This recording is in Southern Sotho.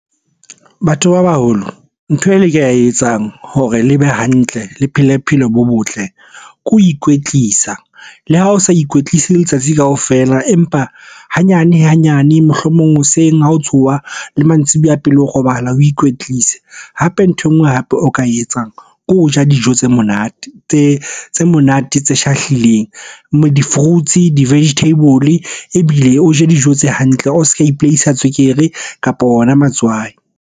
Batho ba baholo, ntho e le ka etsang hore le be hantle, le phele bophelo bo botle ke ho ikwetlisa. Le ha o sa ikwetlise letsatsi kaofela, empa hanyane-hanyane, mohlomong hoseng ha o tsoha le mantsibuya pele o robala o ikwetlise. Hape nthwe nngwe hape o ka e etsang ke ho ja dijo tse monate, tse monate tse shahlileng. Di-fruits-e, di-vegetable, ebile o je dijo tse hantle. O s'ka ipolaisa tswekere, kapa ona matswai.